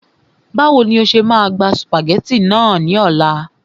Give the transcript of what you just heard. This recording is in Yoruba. Báwo ni o ṣe máa gba sùpàgẹ́tì náà ní ọ̀la